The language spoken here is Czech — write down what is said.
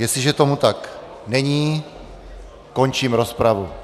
Jestliže tomu tak není, končím rozpravu.